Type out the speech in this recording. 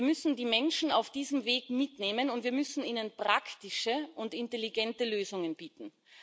Wir müssen die Menschen auf diesem Weg mitnehmen, und wir müssen ihnen praktische und intelligente Lösungen bieten.